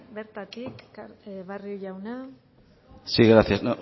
bertatik barrio jauna sí gracias